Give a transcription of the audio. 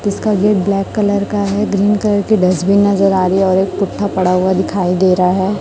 इसका gate black colour का है ग्रीन कलर का डस्टबीन नजर आ रही है और एक पुट्ठा पड़ा हुआ दिखाई दे रहा है।